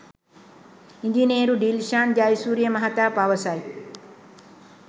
ඉංජිනේරු ඩිල්ෂාන් ජයසූරිය මහතා පවසයි